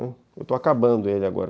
Eu estou acabando ele agora.